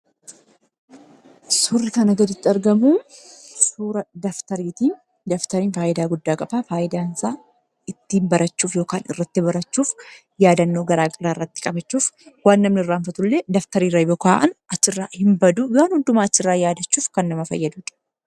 Suurri kanaan gaditti argamu Kun suuraa dabtariiti. Innis kan fayyadu ittiin barachuu fi yaadannoo garaa garaa irratti barreessuuf kan fayyaduu dha.